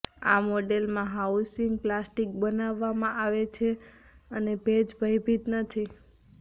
આ મોડેલમાં housing plastic બનાવવામાં આવે છે અને ભેજ ભયભીત નથી